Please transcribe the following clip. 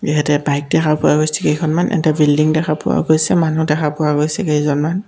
এহতে bike দেখা পোৱা গৈছে কেইখনমান এটা বিল্ডিং দেখা পোৱা গৈছে মানুহ দেখা পোৱা গৈছে কেইজনমান।